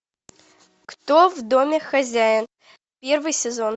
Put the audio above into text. кто в доме хозяин первый сезон